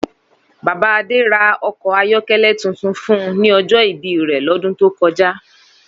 Baba Ade ra ọkọ ayọkẹlẹ tuntun fun un ni ojo ibi re lodun to koja.